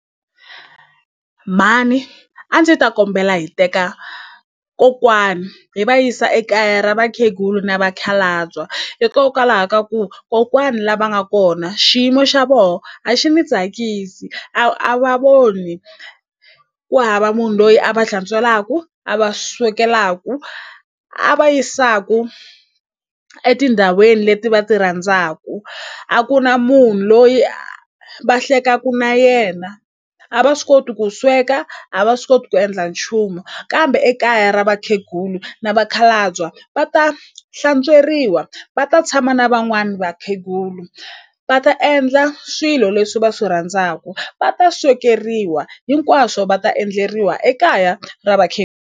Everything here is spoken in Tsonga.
Mhani a ndzi ta kombela hi teka kokwani hi va yisa ekaya ra vakhegulu na vakhalabya hikokwalaho ka ku kokwani la va nga kona xiyimo xa voho a xi ni tsakisi a a va voni ku hava munhu loyi a va hlantswelaku a va swekelaku a va yisaku etindhawini leti va ti rhandzaku a ku na munhu loyi va hlekaku na yena a va swi koti ku sweka a va swi koti ku endla nchumu kambe ekaya ra vakhegulu ni vakhalabya va ta hlantsweriwa va ta tshama na van'wani vakhegulu va ta endla swilo leswi va swi rhandzaku va ta swekeriwa hinkwaswo va ta endleriwa ekaya ra .